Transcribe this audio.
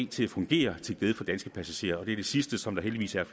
til at fungere til glæde for passagerer og det er det sidste som der heldigvis er